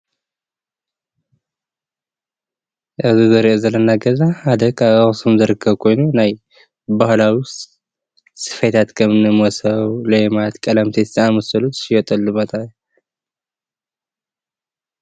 እዚ እንርእዮ ዘለና ገዛ ሓደ ካብ ኣክሱም ዝርከብ ኮይኑ ናይ ባህላዊ ስፌታት ከምኒ መሶብ፣ ሌማት፣ ቀለምሲስ ዝአመሳሰሉ ዝሽየጠሉ ቦታ እዩ።